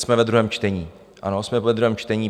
Jsme ve druhém čtení, ano, jsme ve druhém čtení.